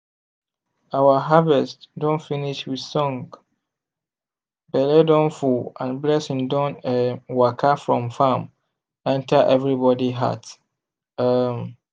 our harvest don finish with song belle don full and blessing don um waka from farm enter everybody heart. um